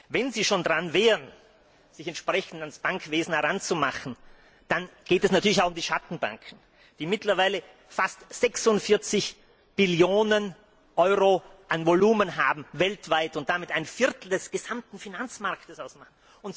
Wenn Sie schon daran wären, sich entsprechend an das Bankenwesen heranzumachen, dann geht es natürlich auch um die Schattenbanken, die mittlerweile weltweit fast 46 Billionen Euro an Volumen haben und damit ein Viertel des gesamten Finanzmarkts ausmachen.